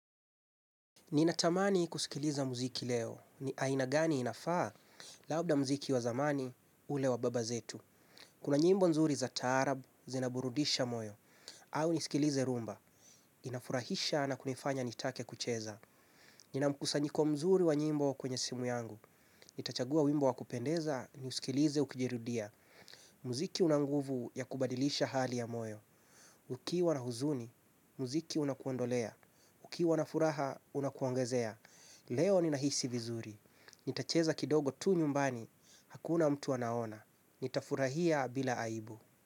Ni natamani kusikiliza muziki leo. Aina gani inafaa? Labda muziki wa zamani, ule wa baba zetu. Kuna nyimbo nzuri za taarabu, zinaburudisha moyo. Au nisikilize rumba. Inafurahisha na kunifanya nitake kucheza. Nina mkusanyiko mzuri wa nyimbo kwenye simu yangu. Nitachagua wimbo wa kupendeza, ni usikilize ukijirudia. Muziki unanguvu ya kubadilisha hali ya moyo. Ukiwa na huzuni, muziki unakuondolea. Ukiwa na furaha, unakuongezea. Leo ni nahisi vizuri. Nitacheza kidogo tu nyumbani. Hakuna mtu anaona. Nitafurahia bila aibu.